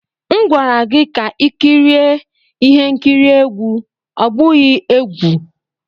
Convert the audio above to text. M gwara gị ka i kirie ihe nkiri egwu, ọ bụghị egwu!